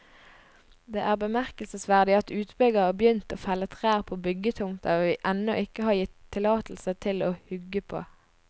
Det er bemerkelsesverdig at utbygger har begynt å felle trær på byggetomter vi ennå ikke har gitt tillatelse til å hugge på.